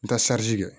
N ka kɛ